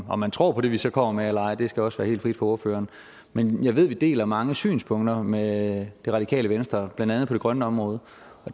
om man tror på det vi så kommer med eller ej det skal også være helt frit for ordføreren men jeg ved at vi deler mange synspunkter med det radikale venstre blandt andet på det grønne område